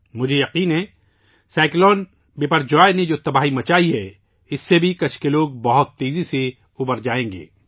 مجھے یقین ہے کہ سمندری طوفان بپر جوائے نے جوتباہی مچائی ہے، اس سے بھی کچھ کے لوگ بہت تیزی سے ابھرجائیں گے